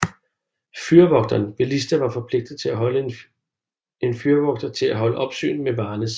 Fyrvogteren ved Lista var forpligtet til at holde en fyrvogter til at holde opsyn med Varnes